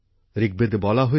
ঋকবেদে বলা হয়েছে